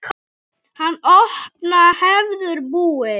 Hann opna hefur búð.